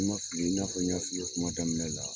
Ni n ma fili, i n'afɔ n ɲ'a f'i ye kuma damina la